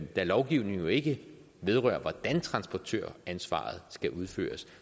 da lovgivningen jo ikke vedrører hvordan transportøransvaret skal udføres